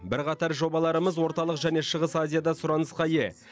бірқатар жобаларымыз орталық және шығыс азияда сұранысқа ие